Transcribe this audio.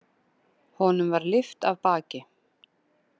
Honum var lyft af baki.